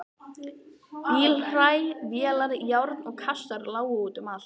Bílhræ, vélar, járn og kassar lágu út um allt.